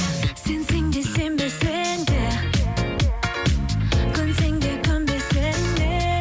сенсең де сенбесең де көнсең де көнбесең де